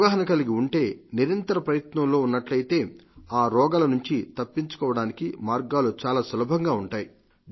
అవగాహన కలిగి ఉంటే నిరంతర ప్రయత్నంలో ఉన్నట్లయితే ఈ రోగాల నుండి తప్పించుకోవడానికి మార్గాలు చాలా సులభంగా ఉంటాయి